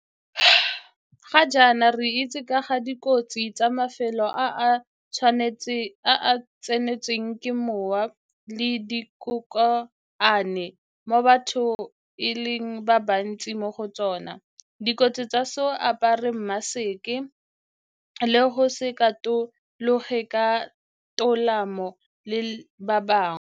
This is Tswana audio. Ga jaana re itse ka ga dikotsi tsa mafelo a a sa tsenelweng ke mowa le dikokoano mo batho e leng ba bantsi mo go tsona, dikotsi tsa go se apare mmaseke le go se katologane ka tolamo le ba bangwe.